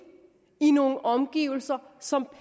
i nogle omgivelser som